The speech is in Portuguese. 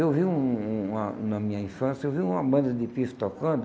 Eu vi um um uma na minha infância eu vi uma banda de pife tocando,